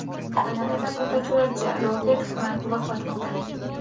Kanadada fotosuratchi Robert Frank vafot etdi .